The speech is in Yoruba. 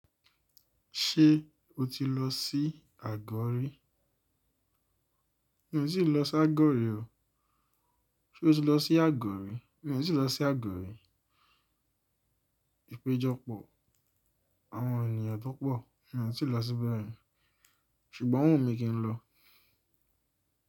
Ṣé o ti lọ sí àgọ́ rì? Mi ò tíì lọ sí àgọ́ rì o. Ṣé o ti lọ sí àgọ́rì? Mi ò tí ì lọ sí àgọ́ rì. Ipejọpọ̀ àwọn ènìyàn tó pọ̀, mi ò tí ì lọ síbẹ̀ rí, ṣùgbọ́n o wunmi kì ń lọ.